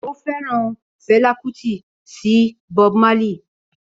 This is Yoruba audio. Ó fẹ́ràn Fela Kuti sí Bob Marley